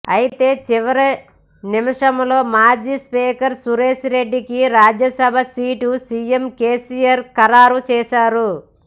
ఐతే చివరి నిమిషంలో మాజీ స్పీకర్ సురేష్ రెడ్డికి రాజ్యసభ సీటు సీఎం కేసీఆర్ ఖరారు చేశారు